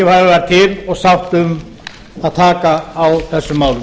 var til og sátt um að taka á þessum málum